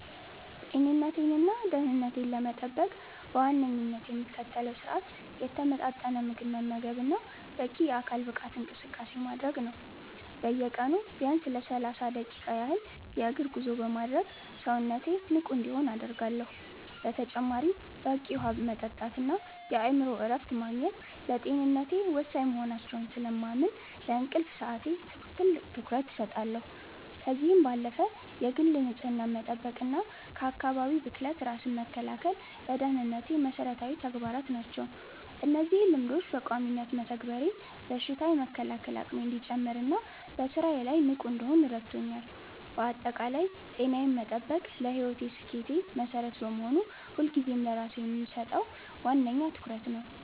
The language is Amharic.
ጤንነቴንና ደህንነቴን ለመጠበቅ በዋነኝነት የምከተለው ስርአት የተመጣጠነ ምግብ መመገብና በቂ የአካል ብቃት እንቅስቃሴ ማድረግ ነው። በየቀኑ ቢያንስ ለሰላሳ ደቂቃ ያህል የእግር ጉዞ በማድረግ ሰውነቴ ንቁ እንዲሆን አደርጋለሁ። በተጨማሪም በቂ ውሃ መጠጣትና የአእምሮ እረፍት ማግኘት ለጤንነቴ ወሳኝ መሆናቸውን ስለማምን፣ ለእንቅልፍ ሰዓቴ ትልቅ ትኩረት እሰጣለሁ። ከዚህም ባለፈ የግል ንጽህናን መጠበቅና ከአካባቢ ብክለት ራስን መከላከል ለደህንነቴ መሰረታዊ ተግባራት ናቸው። እነዚህን ልማዶች በቋሚነት መተግበሬ በሽታ የመከላከል አቅሜ እንዲጨምርና በስራዬ ላይ ንቁ እንድሆን ረድቶኛል። ባጠቃላይ ጤናዬን መጠበቅ ለህይወቴ ስኬት መሰረት በመሆኑ፣ ሁልጊዜም ለራሴ የምሰጠው ዋነኛ ትኩረት ነው።